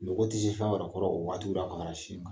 Nogɔ kɔrɔ yɛrɛ waati bɛ a ka